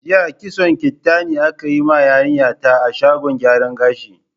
Jiya kitson kirtani aka yi ma yarinya ta a shagon gyaran gashin.